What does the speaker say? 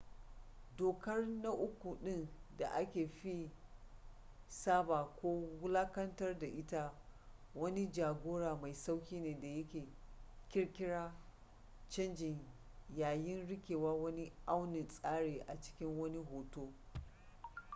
dokar na uku ɗin da aka fi saɓa ko wulaƙantar da ita wani ja-gora mai sauƙi ne da yake ƙirƙira canji yayin riƙewa wani aunin tsari a cikin wani hoto